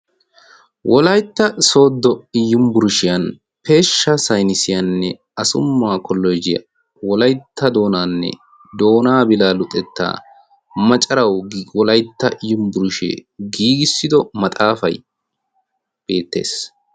Wolytta sooddo yunbburshiyan peeshsha saynnisiyanne asumma kolloojjiya wolytta doonaanne doonaa bilaa luxettaa macarawu Wolytta yunbburshee giigissido maxaafay beettees.